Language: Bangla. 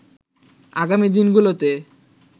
আগামী দিনগুলোতে